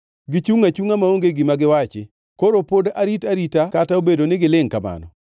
Gichungʼ achungʼa maonge gima giwachi, koro pod arit arita kata obedo ni gilingʼ kamano?